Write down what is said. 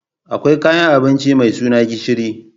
Akwai kayan abinci mai suna gishiri